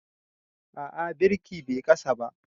A'a birki Bai kasa ba.